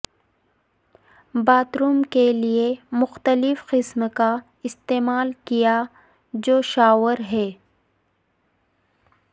bath room کے لئے مختلف قسم کا استعمال کیا جو شاور ہے